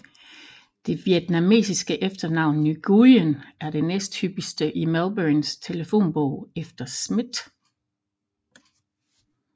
Det vietnamesiske efternavn Nguyen er det næsthyppigste i Melbournes telefonbog efter Smith